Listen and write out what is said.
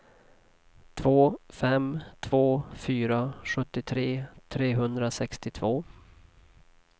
två fem två fyra sjuttiotre trehundrasextiotvå